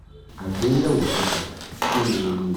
agbeyewo kẹta: kinni ewu rẹ?